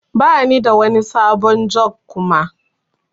Bani da wani sabon jug Kuma.